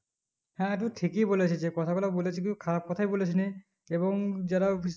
হ্যাঁ তু ঠিকই বলেছিস যে কথা গুলো বলেছিলিস খারাপ কথা বলিস নি এবং যারা